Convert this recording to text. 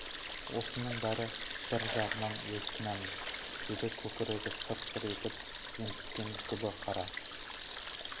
осының бәрі бір жағынан өз кінәміз деді көкірегі сыр-сыр етіп ентіккен күбі қара